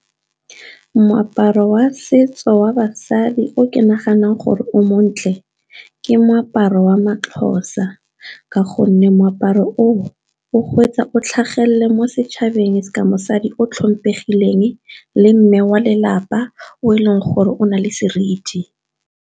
Moaparo wa setso wa basadi o ke naganang gore o montle ke moaparo wa maXhosa, ka gonne moaparo o o go etsa o tlhagelele mo setšhabeng sa mosadi o tlhompegileng le mme wa lelapa o e leng gore o na le seriti.